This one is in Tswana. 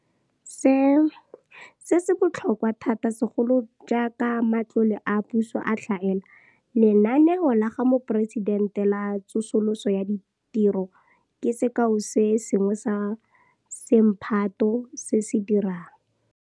Se, se botlhokwa thata segolo jaaka matlole a puso a tlhaela. Lenaneo la ga Moporesitente la Tsosoloso ya Ditiro ke sekao se sengwe sa semphato se se dirang.